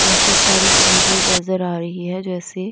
काफी सारी चीजें नज़र आ रही है जैसे--